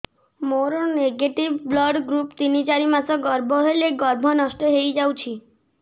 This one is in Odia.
ମୋର ନେଗେଟିଭ ବ୍ଲଡ଼ ଗ୍ରୁପ ତିନ ଚାରି ମାସ ଗର୍ଭ ହେଲେ ଗର୍ଭ ନଷ୍ଟ ହେଇଯାଉଛି